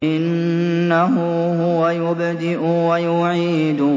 إِنَّهُ هُوَ يُبْدِئُ وَيُعِيدُ